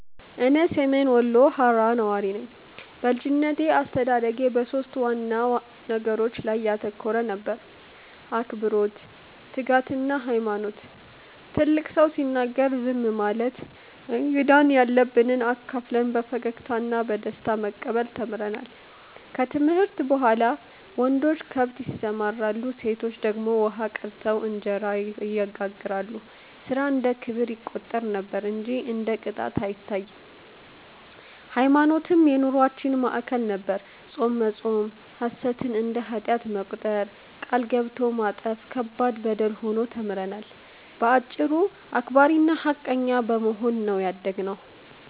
እኔ ሰሜን ወሎ ሃራ ነዋሪ ነኝ። በልጅነቴ አስተዳደጌ በሦስት ዋና ነገሮች ላይ ያተኮረ ነበር፤ አክብሮት፣ ትጋትና ሃይማኖት። ትልቅ ሰው ሲናገር ዝም ማለት፣ እንግዳን ያለንብ አካፍለን በፈገግታ እና በደስታ መቀበል ተምረናል። ከትምህርት በኋላ ወንዶች ከብት ያሰማራሉ፣ ሴቶች ደግሞ ውሃ ቀድተው እንጀራ ይጋግራሉ፤ ሥራ እንደ ክብር ይቆጠር ነበር እንጂ እንደ ቅጣት አይታይም። ሃይማኖትም የኑሮአችን ማዕከል ነበር፤ ጾም መጾም፣ ሐሰትን እንደ ኃጢአት መቁጠር፣ ቃል ገብቶ ማጠፍ ከባድ በደል ሆኖ ተምረናል። በአጭሩ አክባሪና ሃቀኛ በመሆን ነው ያደግነው።